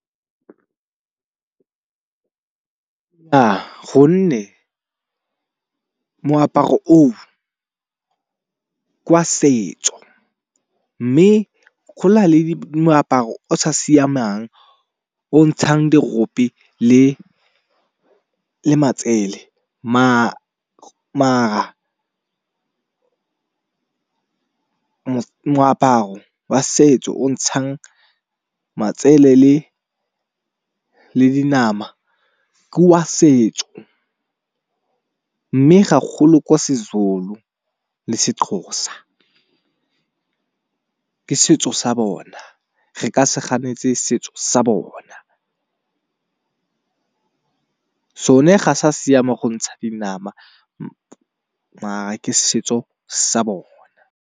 Gonne moaparo o kwa setso mme gonale moaparo o sa siamang o ntshang derope le matsele. Moaparo wa setso o ntshang matsele le le dinama ke wa setso mme gagolo kwa seZulu le seXhosa. Ke setso sa bona re ka se ganetse setso sa bona. Sone a sa siama go ntsha dinama mara ke setso sa bona.